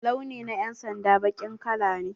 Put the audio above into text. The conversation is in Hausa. Launi na yan'sanda baƙin kala ne.